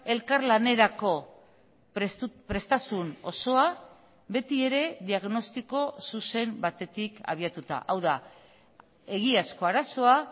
elkarlanerako prestasun osoa betiere diagnostiko zuzen batetik abiatuta hau da egiazko arazoa